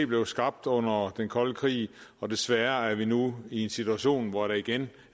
blev skabt under den kolde krig og desværre er vi nu i en situation hvor der igen